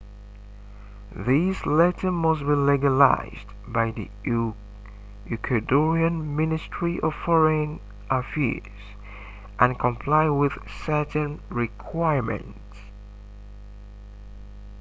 this letter must be legalized by the ecuadorian ministry of foreign affairs and comply with certain requirements